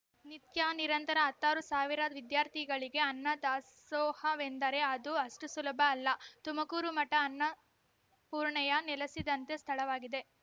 ನಿತ್ಯ ನಿರಂತರ ಹತ್ತಾರು ಸಾವಿರ ವಿದ್ಯಾರ್ಥಿಗಳಿಗೆ ಅನ್ನ ದಾಸೋಹವೆಂದರೆ ಅದು ಅಷ್ಟುಸುಲಭ ಅಲ್ಲ ತುಮಕೂರು ಮಠ ಅನ್ನಪೂರ್ಣಯೇ ನೆಲೆಸಿದಂತಹ ಸ್ಥಳವಾಗಿದೆ